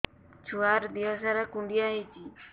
ଛୁଆର୍ ଦିହ ସାରା କୁଣ୍ଡିଆ ହେଇଚି